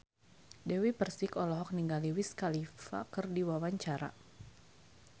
Dewi Persik olohok ningali Wiz Khalifa keur diwawancara